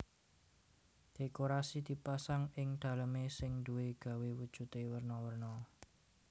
Dhékorasi dipasang ing dalemé sing duwé gawé wujudé werna werna